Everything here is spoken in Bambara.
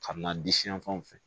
Ka na di siyan fanw fɛ